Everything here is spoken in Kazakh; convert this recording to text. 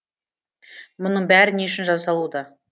мұның бәрі не үшін жасалуда